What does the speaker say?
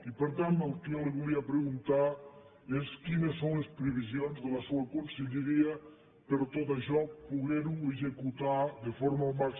i per tant el que jo li volia preguntar és quines són les previsions de la seua conselleria per a tot això poder ho executar de forma al màxim de satisfactòria